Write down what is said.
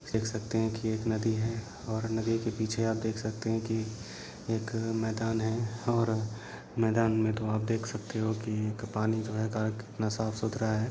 देख सकते है की एक नदी है और नदी के पीछे आप देख सकते है की एक मेदान है और मेदान मे तो आप देख सकते हो की क-पानी जो है क-कितना साफ सूथरा है।